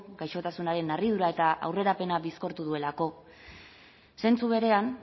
gaixotasunaren harridura eta aurrerapena bizkortu duelako zentzu berean